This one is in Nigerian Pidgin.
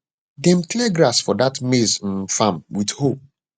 dem clear grass for that maize um farm with hoe